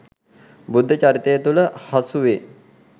බුද්ධ චරිතය තුළ හසු වේ.